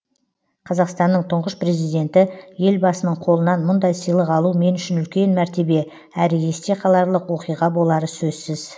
қазақстанның тұңғыш президенті елбасының қолынан мұндай сыйлық алу мен үшін үлкен мәртебе әрі есте қаларлық оқиға болары сөзсіз